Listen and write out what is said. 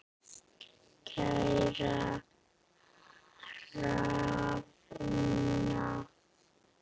Kæra Hrefna.